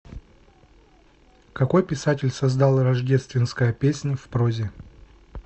какой писатель создал рождественская песнь в прозе